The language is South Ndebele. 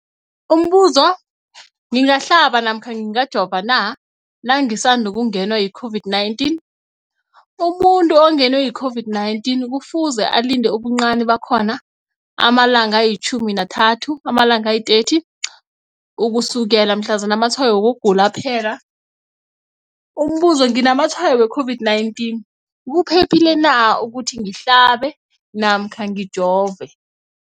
Umbuzo, ngingahlaba namkha ngingajova na nangisandu kungenwa yi-COVID-19? Umuntu ongenwe yi-COVID-19 kufuze alinde ubuncani bakhona ama-30 wama langa ukusukela mhlazana amatshayo wokugula aphela. Umbuzo, nginamatshayo we-COVID-19, kuphephile na ukuthi ngihlabe namkha ngijove?